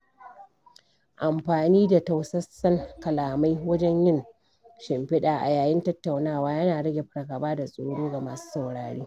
Amfani da tausasan kalamai wajen yin shimfiɗa a yayin tattaunawa yana rage fargaba da tsoro ga masu saurare.